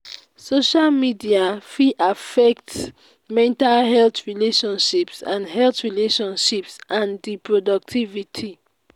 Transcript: social media fit affect di mental health relationships and health relationships and di productivity.